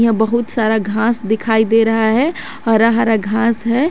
बहुत सारा घास दिखाई दे रहा है हरा हरा घास है।